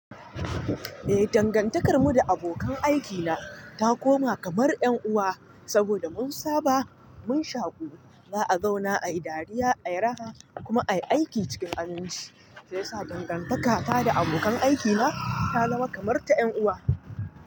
Eh, dangantakar mu da abokan aikina ta koma kamar 'yan uwa saboda mun saba, mun shaƙu, za a zauna, ayi dariya, ayi raha kuma ayi aiki cikin aminci, shiyasa sa dangantaka ta da abokan aikina ta zama kamar ta 'yan uwa.